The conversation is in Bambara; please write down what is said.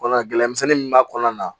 Kɔnɔ gɛlɛmin min b'a kɔnɔna na